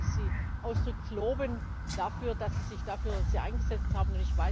Deswegen wollte ich Sie ausdrücklich loben dafür, dass Sie sich dafür eingesetzt haben.